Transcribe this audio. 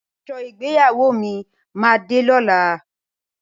Aṣọ ìgbéyàwó mi máa de lọ́la.